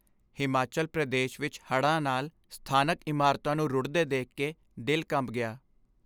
ਹਿਮਾਚਲ ਪ੍ਰਦੇਸ਼ ਵਿੱਚ ਹੜ੍ਹਾਂ ਨਾਲ ਸਥਾਨਕ ਇਮਾਰਤਾਂ ਨੂੰ ਰੁੜ੍ਹਦੇ ਦੇਖ ਕੇ ਦਿਲ ਕੰਬ ਗਿਆ।